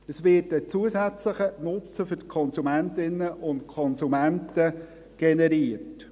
: Es wird ein zusätzlicher Nutzen für die Konsumentinnen und Konsumenten generiert.